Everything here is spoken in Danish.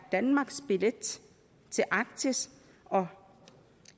danmarks billet til arktis og